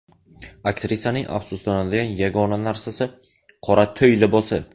Aktrisaning afsuslanadigan yagona narsasi – qora to‘y libosi.